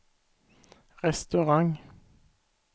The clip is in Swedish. restaurang